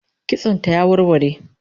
Kitson ta ya warware